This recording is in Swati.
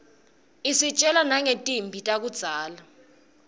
isitjela nangetimphi takudzala